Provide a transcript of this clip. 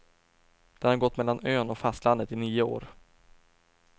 Den har gått mellan ön och fastlandet i nio år.